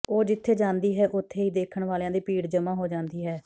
ਉਹ ਜਿੱਥੇ ਜਾਂਦੀ ਹੈ ਉੱਥੇ ਹੀ ਦੇਖਣ ਵਾਲਿਆਂ ਦੀ ਭੀੜ ਜਮ੍ਹਾਂ ਹੋ ਜਾਂਦੀ ਹੈ